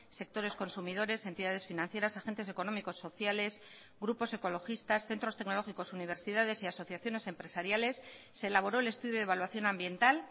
sectores consumidores entidades financieras agentes económicos sociales grupos ecologistas centros tecnológicos universidades y asociaciones empresariales se elaboró el estudio de evaluación ambiental